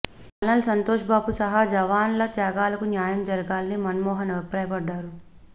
colonel Santosh Babu సహా జవాన్ల త్యాగాలకు న్యాయం జరగాలని మన్మోహన్ అభిప్రాయపడ్డారు